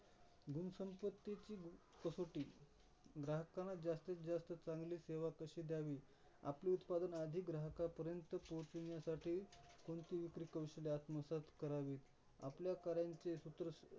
कसोटी ग्राहकांना जास्तीतजास्त चांगली सेवा कशी द्यावी? आपले उत्पादन अधिक ग्राहकांपर्यंत पोहोचविण्यासाठी कोणती विक्री कौशल्य आत्मसात करावीत. आपल्या कार्याचे सूत्र